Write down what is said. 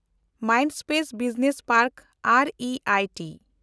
Mindspace business ᱯᱮᱱᱰᱠ ᱮᱱᱰᱤᱟᱭᱴᱤ